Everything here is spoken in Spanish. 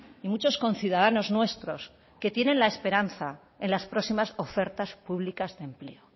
y muchos conciudadanos nuestros que tienen la esperanza en las próximas ofertas públicas de empleo